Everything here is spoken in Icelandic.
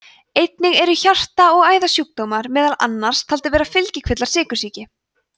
einnig eru hjarta og æðasjúkdómar meðal annars taldir vera fylgikvillar sykursýki